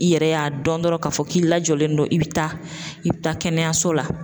I yɛrɛ y'a dɔn dɔrɔn k'a fɔ k'i lajɔlen do i bi taa i bi taa kɛnɛyaso la.